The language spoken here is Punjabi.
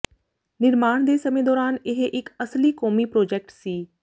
ਨਿਰਮਾਣ ਦੇ ਸਮੇਂ ਦੌਰਾਨ ਇਹ ਇਕ ਅਸਲੀ ਕੌਮੀ ਪ੍ਰੋਜੈਕਟ ਸੀ